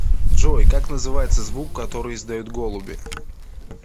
джой как называется звук который издают голуби